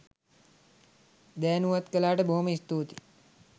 දෑනුවත් කලාට බොහොම ස්තුතියි.